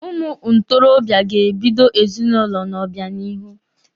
Ụmụ ntorobịa ga-ebido ezinụlọ n'obịanihu.